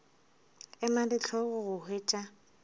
ema le hlogo go hwetša